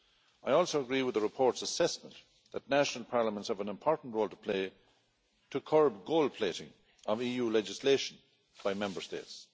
I also agree with the report's assessment that national parliaments of an important role to play to curb gold plating of EU legislation by Member States.